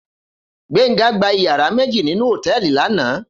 Gbenga gbá iyàrá méji ninú hótèlí làná